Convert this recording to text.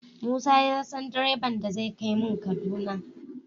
Musa ya san direban da zai kai mun kaduba